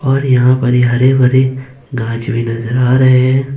और यहां पे ये हरे भरे गाछ भी नजर आ रहे है।